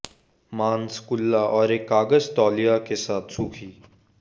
मांस कुल्ला और एक कागज तौलिया के साथ सूखी